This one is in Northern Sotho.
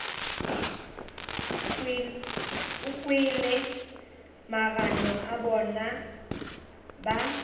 kwele magano a bona ba